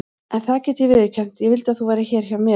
En það get ég viðurkennt: ég vildi að þú værir hér hjá mér.